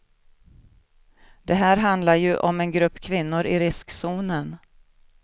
Det här handlar ju om en grupp kvinnor i riskzonen.